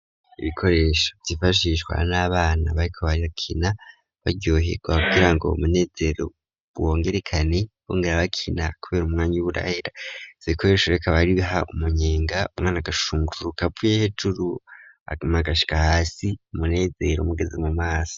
Ibikoresho vyifashishwa n'abana bariko bari bakina baryohe ku babwira ngo umunezero wongerekane bongera bakina kubera umwanya wurahera zibikoresho reko abaribiha umunyenga umwana gashungru kapfu ye hejuru amagasha hasi umunezero mugeze mu maso.